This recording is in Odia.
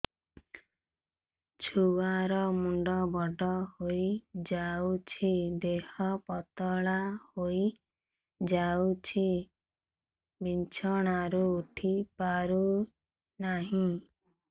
ଛୁଆ ର ମୁଣ୍ଡ ବଡ ହୋଇଯାଉଛି ଦେହ ପତଳା ହୋଇଯାଉଛି ବିଛଣାରୁ ଉଠି ପାରୁନାହିଁ